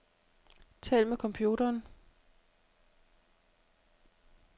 Tal med computeren.